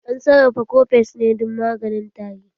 An sarrafa kofes ne dan maganin tari.